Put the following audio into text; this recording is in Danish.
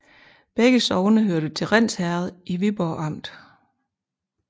Begge sogne hørte til Rinds Herred i Viborg Amt